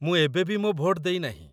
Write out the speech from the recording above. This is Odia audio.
ମୁଁ ଏବେବି ମୋ ଭୋଟ ଦେଇନାହିଁ